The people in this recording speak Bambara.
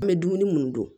An bɛ dumuni minnu dun